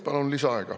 Palun lisaaega.